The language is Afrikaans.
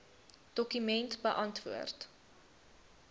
dokument beantwoord